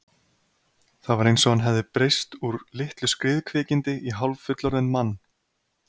Það var eins og hann hefði breyst úr litlu skriðkvikindi í hálffullorðinn mann.